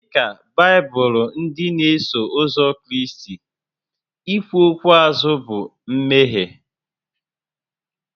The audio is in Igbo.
Dịka Baibụlụ ndị n'eso ụzọ Kraịst, ikwu okwu azụ bụ mmehie